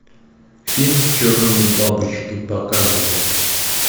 фильм черные бабочки показывай